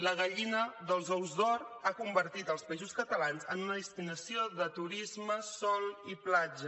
la gallina dels ous d’or ha convertit els països catalans en una destinació de turisme de sol i platja